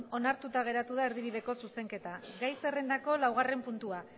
onartuta geratu da erdibideko zuzenketa gai zerrendako laugarren puntua